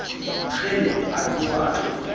kgele a tsoha a tlola